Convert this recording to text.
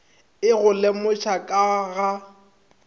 e go lemoša ka ga